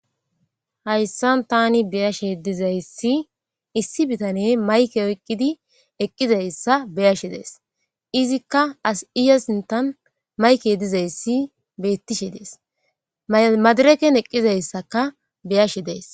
Hayssan tani beyashe dizayssi issi bitane mayke oyqqidi eqqizayssa beyashe dees izikka as iya sintan mayke dizayssi beettishe dees madireken eqqizayssaka beyashe dees